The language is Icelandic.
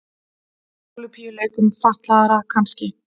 Ólympíuleikum fatlaðra kannski.